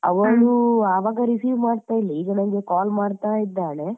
ಅವಳು ಆವಾಗ call receive ಮಾಡ್ತಾ ಇಲ್ಲ ಈಗ ನನ್ಗೆ call ಮಾಡ್ತಾ ಇದ್ದಾಳೆ.